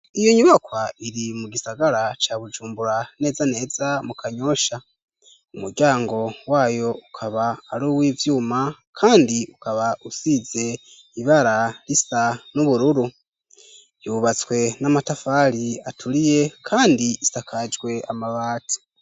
Iyo nyubakwa iri mu gisagara ca Bujumbura neza neza mu Kanyosha, umuryango wayo ukaba ari uw'ivyuma kandi ukaba usize ibara risa n'ubururu, yubatswe n'amatafari aturiye kandi isakajwe amabati.